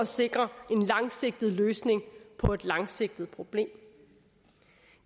sikre en langsigtet løsning på et langsigtet problem